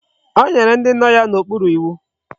O nyere ndi no ya na okporo iwu